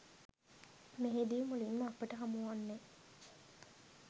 මෙහිදී මුලින්ම අපට හමුවන්නේ